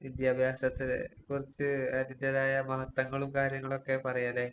വിദ്യാഭ്യാസത്തെ കുറിച്ച് അതിന്റേതായ മഹത്വങ്ങളും കാര്യങ്ങളൊക്കെ പറയാല്ലേ?